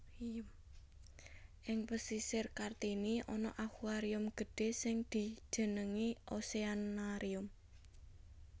Ing Pasisir Kartini ana aquarium gedhé sing dijenengi Oceanarium